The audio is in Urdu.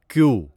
کیو